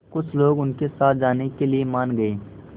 कुछ लोग उनके साथ जाने के लिए मान गए